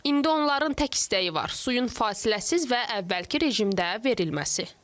İndi onların tək istəyi var: suyun fasiləsiz və əvvəlki rejimdə verilməsi.